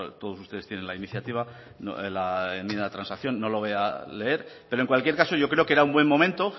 todos ustedes tienen la iniciativa la enmienda de transacción no lo voy a leer pero en cualquier caso yo creo que era un buen momento